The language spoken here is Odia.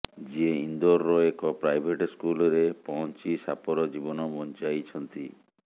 ଯିଏ ଇନ୍ଦୋରର ଏକ ପ୍ରାଇଭେଟ୍ ସ୍କୁଲରେ ପହଂଚି ସାପର ଜୀବନ ବଂଚାଇଛନ୍ତି